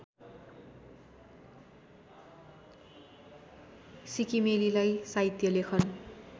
सिक्किमेलीलाई साहित्य लेखन